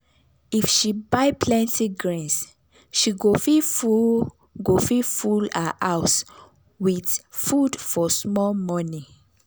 if she buy plenty grains she go fit full go fit full her house with food for small money.